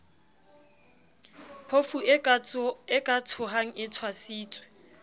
phofue ka tshohang e tshwasitswe